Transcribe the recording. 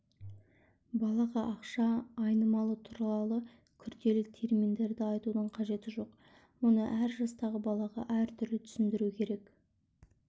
балаға ақша айналымы туралы күрделі терминдерді айтудың қажеті жоқ оны әр жастағы балаға әртүрлі түсіндіру керек